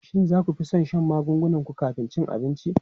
Shin za ku fi son shan magungunan ku kafin cin abinci?